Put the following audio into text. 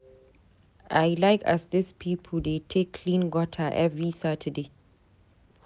I like as dis pipo dey take clean gutter every Saturday.